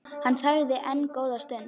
Hann þagði enn góða stund.